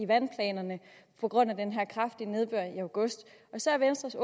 vandplanerne på grund af den her kraftige nedbør i august så venstres